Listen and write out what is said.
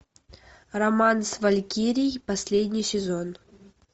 роман с валькирией последний сезон